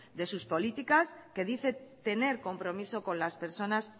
de sus políticas que dice tener compromiso con las personas